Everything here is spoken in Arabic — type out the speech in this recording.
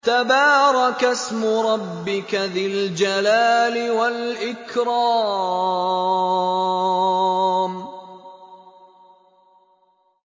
تَبَارَكَ اسْمُ رَبِّكَ ذِي الْجَلَالِ وَالْإِكْرَامِ